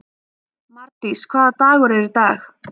Mardís, hvaða dagur er í dag?